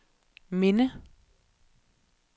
minde